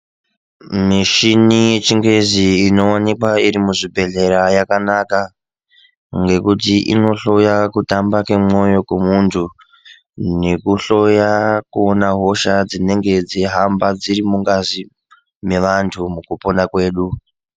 Michina yechingezi inowanikwa iri muzvibhedhleya yakanaka ngekuti inohloya kutamba kwemoyo kwemuntu nekuhloya kuona hosha dzinenge dzeihamba dziri mungazi mevantu mukupona kwedu .